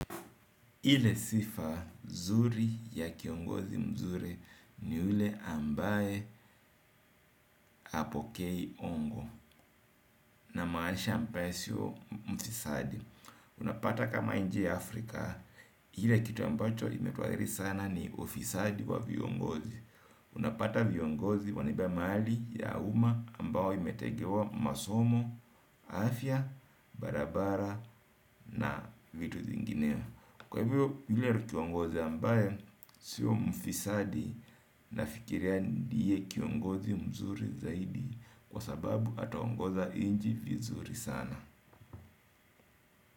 Ile sifa nzuri ya kiongozi mzuri ni yule ambaye hapokei hongo namanisha ambaye sio mfisadi. Unapata kama nje ya Afrika, hiyo kitu ambacho imetuaribu sana ni ufisadi wa viongozi. Unapata viongozi wanaibia mali ya uma ambayo imetegewa masomo, afya, barabara na vitu zingineo. Kwa hivyo hile kiongozi ambaye siyo mfisadi nafikiria ndiye kiongozi mzuri zaidi kwa sababu ataongoza nchi vizuri sana.